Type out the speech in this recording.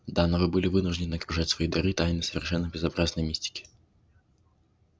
да но вы были вынуждены окружать свои дары тайной совершенно безобразной мистики